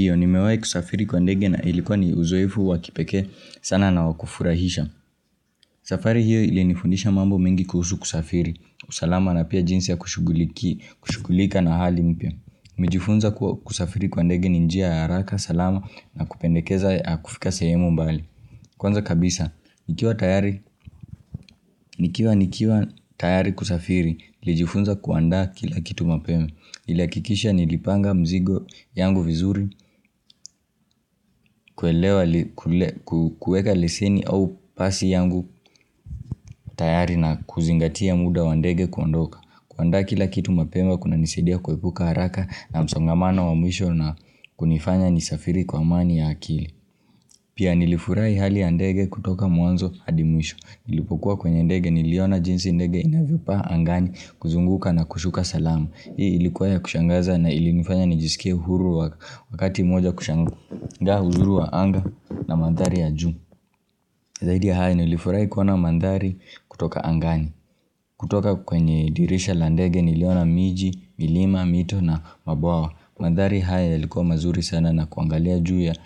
Ndio nimewai kusafiri kwa ndege na ilikuwa ni uzoefu wakipekee sana na wakufurahisha safari hiyo ili nifundisha mambo mengi kuhusu kusafiri usalama na pia jinsi ya kushuguliki, kushugulika na hali mpia nimejifunza kwa kusafiri kwa ndege ni njia ya haraka salama na kupendekeza ya kufika sehemu mbali Kwanza kabisa, nikiwa tayari, nikiwa nikiwa tayari kusafiri, nlijifunza kuanda kila kitu mapema Ilakikisha nilipanga mzigo yangu vizuri kuelewa kule kukueka leseni au pasi yangu tayari na kuzingatia muda wandege kuondoka kuanda kila kitu mapema kuna nisadia kuepuka haraka na msongamana wamwisho na kunifanya nisafiri kwa amani ya akili Pia nilifurai hali yandege kutoka muanzo adimwisho Ilipokuwa kwenye ndege ni liona jinsi ndege inavyopa angani kuzunguka na kushuka salamu Hii ilikuwa ya kushangaza na ilinifanya nijisikia huru wakati moja kushangu Ndaa huzuru wa anga na mandhari ya juu Zahidi ya haya nilifurai kuona mandhari kutoka angani kutoka kwenye dirisha landege niliona miji, milima, mito na mabawa Mandhari haya yalikuwa mazuri sana na kuangalia juu ya